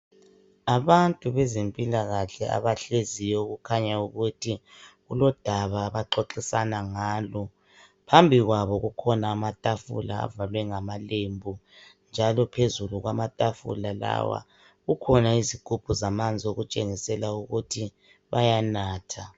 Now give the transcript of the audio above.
Abantu bezempilakahle abahleziyo okukhanya ukuthi kulodaba abaxoxisana ngalo phambi kwabo kukhona amatafula avalwe ngamalembu njalo phezulu kwamatafula lawa kukhona izigumbu zamanzi okutsengisa ukuthi bayanatha.